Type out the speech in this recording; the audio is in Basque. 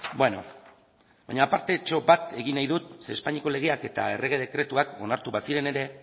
bueno baina apartetxo bat egin nahi dut zeren espainiako legeak eta errege dekretuak onartu baziren ere